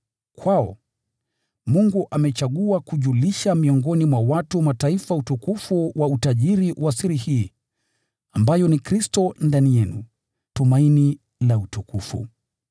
Kwao, Mungu amechagua kujulisha miongoni mwa watu wa Mataifa utukufu wa utajiri wa siri hii, ambayo ni Kristo ndani yenu, tumaini la utukufu.